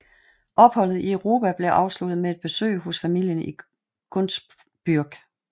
Opholdet i Europa blev afsluttet med et besøg hos familien i Gunzbürg